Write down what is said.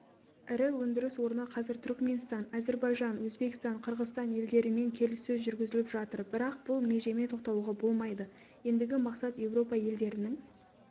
ірі өндіріс орны қазір түрікменстан әзірбайжан өзбекстан қырғызстан елдерімен келіссөздер жүргізіп жатыр бірақ бұл межемен тоқталуға болмайды ендігі мақсат еуропа елдерінің